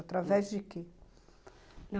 Através de quê?